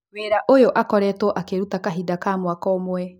Wĩra ũyũakoretwo akĩũruta kahinda ka mwaka ũmwe.